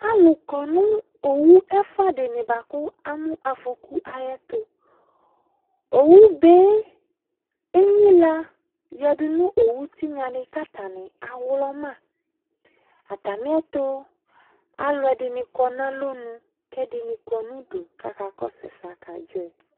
Alu kɔ no owu ɛfua de ne boako amo afɔku ayetoOwubee enyila yadu no owu tenya ne ko atane awlɔmaAtame eto aluɛde ne kɔ no alɔnu, ko ɛdene kɔ no udu ko aka kɔso asɛa ko adzɔɛ